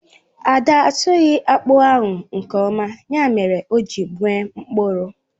Ada asụghi akpu ahụ nke oma, ya mere o ji nwee mkpụrụ